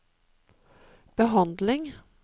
behandling